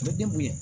U bɛ ne bonya